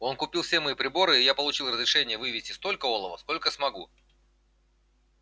он купил все мои приборы и я получил разрешение вывезти столько олова сколько смогу